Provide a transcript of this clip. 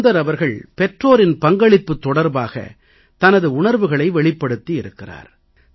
சுந்தர் அவர்கள் பெற்றோரின் பங்களிப்பு தொடர்பாக தனது உணர்வுகளை வெளிப்படுத்தி இருக்கிறார்